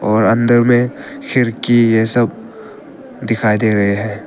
और अंदर में खिड़की ये सब दिखाई दे रहे है।